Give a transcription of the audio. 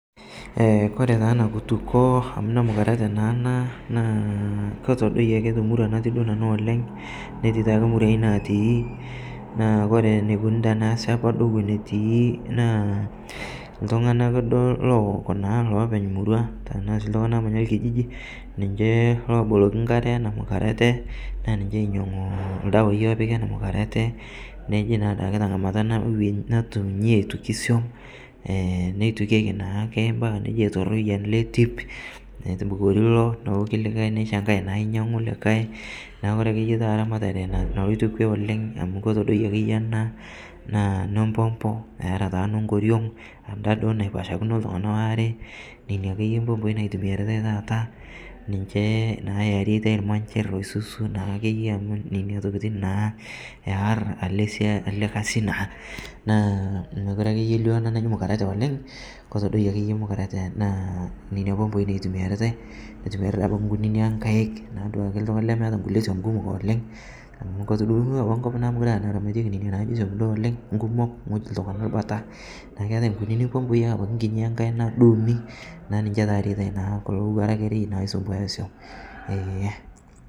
ore taa enakitukuo amu ore temuruang naa ketii taa imurai natii naa iltunganak duo lowok ilopeny emurua, kulo loomanya olkijiji niche loo boloki inkare, naa niche loinyangu iladawai loopiki teneji ing'iale, amu ore doi ena naa nembombo etaa taa edaidashakini engoriong iltunganak are , naa mookire akeyie elioo mukareta oleng , amu eniapa , naa keeta inkunini masher naa niche itayuni tena toki ee.